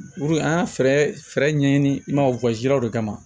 an ye fɛɛrɛ ɲɛɲini i ma de kama